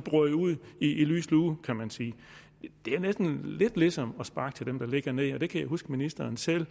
brød ud i lys lue kan man sige det er næsten lidt ligesom at sparke til dem der ligger ned og det kan jeg huske at ministeren selv